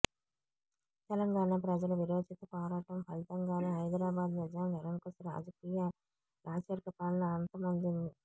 తెలంగాణ ప్రజల వీరోచిత పోరాటం ఫలితంగానే హైదరాబాదు నిజాం నిరంకుశ రాజరిక పాలన అంతమొందింది